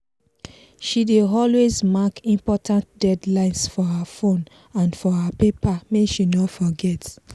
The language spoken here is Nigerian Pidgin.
she dey always mark important deadlines for her phone and for paper make she no forget.